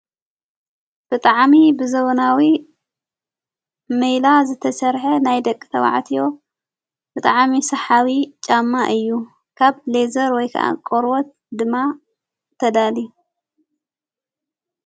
ብጥዓሚ ብዘበናዊ ሜላ ዘተሠርሐ ናይ ደቂ ተባዓትዮ ብጥዓሚ ሰሓቢ ጫማ እዩ ካብ ሌዘር ወይ ከዓ ቆርወት ድማ ተዳሊዩ።